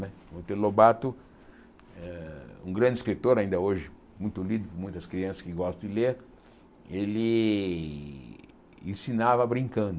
Não é Monteiro Lobato, ah um grande escritor, ainda hoje muito lido por muitas crianças que gostam de ler, ele ensinava brincando.